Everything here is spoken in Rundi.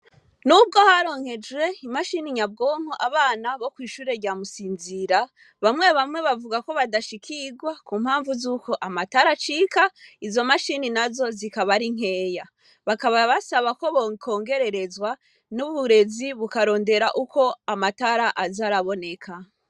Nubwo haronkejwe imashine nyabwonko Abana bokwishure rya Musinzira, bamwe bamwe bavuga KO badashikirwa, kumpamvu zuko amatara aracika, izomashine nazo zikaba ari nkeya. Bakaba basaba ko bokongererezwa n'uburezi bukarondera Uko amatara aza araboneka.